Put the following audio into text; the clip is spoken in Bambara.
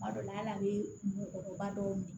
Kuma dɔ la hal'a bɛ mɔgɔkɔrɔba dɔw minɛ